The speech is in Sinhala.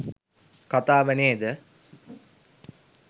කතාව නේද?